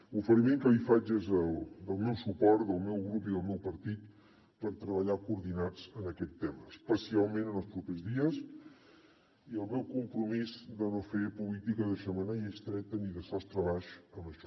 l’oferiment que li faig és el meu suport del meu grup i del meu partit per treballar coordinats en aquest tema especialment en els propers dies i el meu compromís de no fer política de xemeneia estreta ni de sostre baix amb això